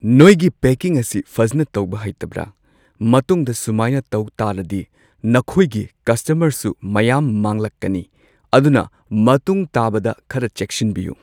ꯅꯣꯏꯒꯤ ꯄꯦꯀꯤꯡ ꯑꯁꯤ ꯐꯖꯟꯅ ꯇꯧꯕ ꯍꯩꯇꯕ꯭ꯔꯥ ꯃꯇꯨꯡꯗ ꯁꯨꯃꯥꯏꯅ ꯇꯧ ꯇꯥꯔꯗꯤ ꯅꯈꯣꯏꯒꯤ ꯀꯁꯇꯃꯔꯁꯨ ꯃꯌꯥꯝ ꯃꯥꯡꯂꯛꯀꯅꯤ ꯑꯗꯨꯅ ꯃꯇꯨꯡ ꯇꯥꯕꯗ ꯈꯔ ꯆꯦꯛꯁꯤꯟꯕꯤꯌꯨ꯫